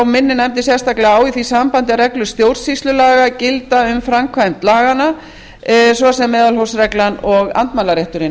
minnir nefndin sérstaklega á í því sambandi að reglur stjórnsýslulaga gilda um framkvæmd laganna svo sem meðalhófsreglan og andmælarétturinn